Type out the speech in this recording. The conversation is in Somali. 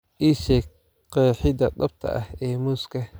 ii sheeg qeexida dhabta ah ee muuska